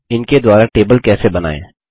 इनके द्वारा टेबल कैसे बनाएँ